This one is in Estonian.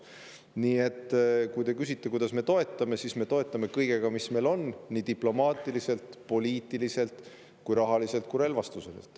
Nii et kui te küsite, kuidas me toetame, siis vastan, et me toetame kõigega, mida meil on, nii diplomaatiliselt, poliitiliselt, rahaliselt kui ka relvastusega.